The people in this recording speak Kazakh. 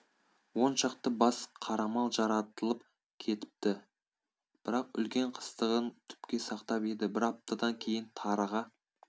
он шақты бас қарамал жаратылып кетіпті бірақ үлкен қастығын түпке сақтап еді бір аптадан кейін тарыға